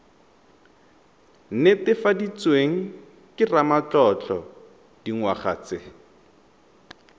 netefaditsweng ke ramatlotlo dingwaga tse